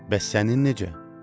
Bəs sənin necə?